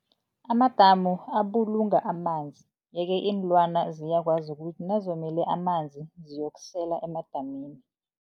Amadamu abulunga amanzi yeke iinlwana ziyakwazi ukuthi nazomele amanzi ziyokusela emadamini.